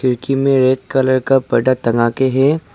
खिड़की में red colour का पर्दा टंगा के है।